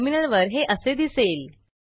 टर्मिनलवर हे असे दिसेल